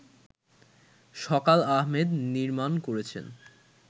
সকাল আহমেদ নির্মাণ করেছেন